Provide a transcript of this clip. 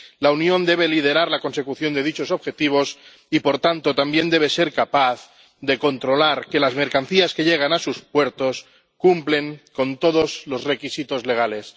La Unión debe liderar la consecución de dichos objetivos y, por tanto, también debe ser capaz de controlar que las mercancías que llegan a sus puertos cumplen con todos los requisitos legales.